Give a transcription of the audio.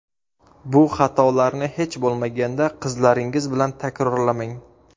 Bu xatolarni hech bo‘lmaganda qizlaringiz bilan takrorlamang.